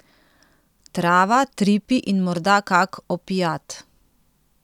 Trava, tripi in morda kak opiat.